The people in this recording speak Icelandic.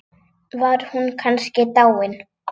Var hún kannski dáin?